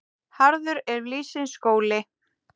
Harður er lífsins skóli.